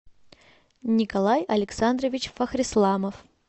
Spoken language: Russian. николай александрович фахрисламов